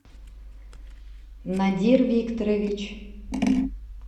надир викторович